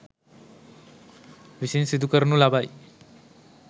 විසින් සිදු කරනු ලබයි.